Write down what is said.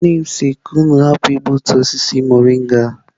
Nne m si ka unu hapụ igbutu osisi mọrịnga.